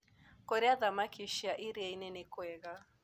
Kũrĩa thamakĩ cia ĩrĩaĩnĩ nĩkwega